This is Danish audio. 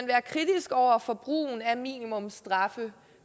være kritisk over for brugen af minimumsstraffe